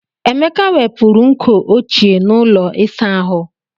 Emeka wepụrụ nkọ ochie n'ụlọ ịsa ahụ.